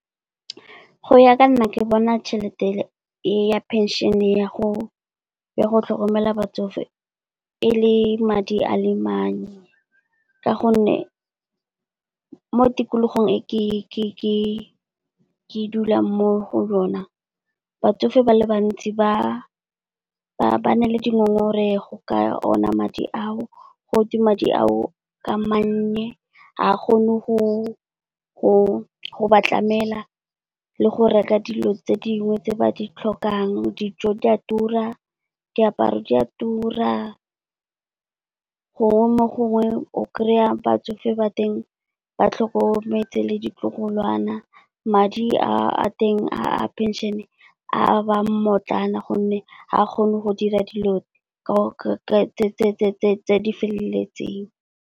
Go ya ka nna ke bona tšhelete ya phenšene ya go ya go tlhokomela batsofe, e le madi a le manyne. Ka gonne mo tikologong e ke dulang mo go yona, batsofe ba le bantsi ba ba na le dingongorego ka ona madi ao. Go twe madi ao ke a mannye, ga a kgone go ba tlamela, le go reka dilo tse dingwe tse ba di tlhokang, dijo di a tura, diaparo di a tura. Gongwe mo gongwe o kry-a batsofe ba teng ba tlhokometse le ditlogolwana. Madi a teng a penšene a bang mmotlana gonne ga a kgone go dira dilo tse di feleletseng.